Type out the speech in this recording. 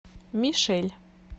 мишель